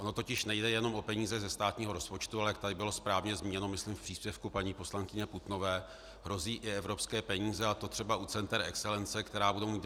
Ono totiž nejde jenom o peníze ze státního rozpočtu, ale jak tady bylo správně zmíněno, myslím, v příspěvku paní poslankyně Putnové, hrozí i evropské peníze, a to třeba u center excelence.